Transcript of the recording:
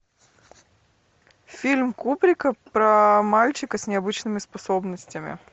фильм кубрика про мальчика с необычными способностями